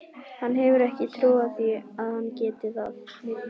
Hann hefur ekki trú á því að hann geti það.